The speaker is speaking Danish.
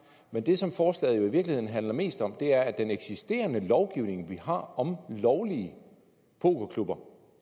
men det som forslaget i virkeligheden handler mest om er at den eksisterende lovgivning vi har om lovlige pokerklubber